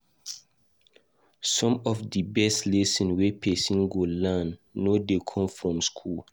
Some of di best lesson wey person go learn no dey come from school.